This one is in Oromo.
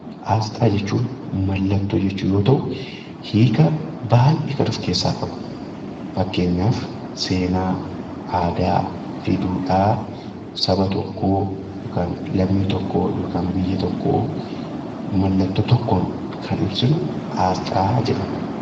Asxaa jechuun mallattoo jechuu yoo ta'u, hiika baayyee kan of keessaa qabu, fakkeenyaaf seenaa aadaa fi duudhaa saba tokkoo yookaan lammii tokkoo yookiin biyya tokkoo mallattoodhaan kan ibsinu asxaa jedhama.